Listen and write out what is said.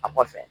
A kɔfɛ